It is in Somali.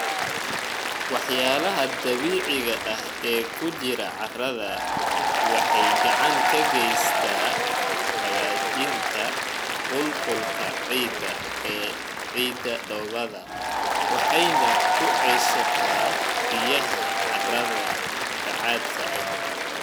Walxaha dabiiciga ah ee ku jira carrada waxay gacan ka geysataa hagaajinta qulqulka ciidda dhoobada waxayna ku ceshataa biyaha carrada bacaadka ah.